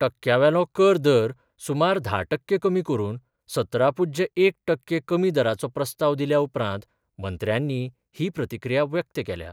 टक्क्यांवेलो कर दर सुमार धा टक्के कमी करून, सतरा पुज्य एक टक्के कमी दराचो प्रस्ताव दिल्या उपरांत मंत्र्यांनी ही प्रतिक्रिया व्यक्त केल्या.